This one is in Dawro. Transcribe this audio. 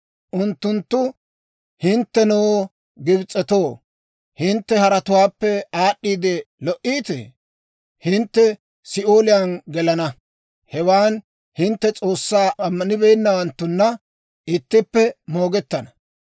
Unttunttu, ‹Hinttenoo Gibs'etoo, hintte haratuwaappe aad'd'i lo"iittee? Hintte Si'ooliyaan gelana; hewan hintte S'oossaa ammanibeennawanttuna ittippe moogettana.›